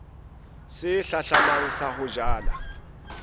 se hlahlamang sa ho jala